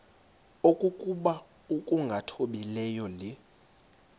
okokuba ukungathobeli le